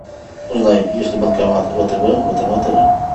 узнай есть ли банкомат втб в этом отеле